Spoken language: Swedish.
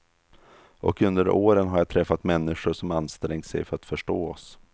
Och under åren har jag träffat människor som ansträngt sig för att förstå oss.